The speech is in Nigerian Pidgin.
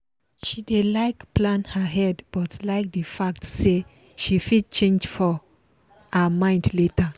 she dey like plan ahead but like the fact say she fit change her mind later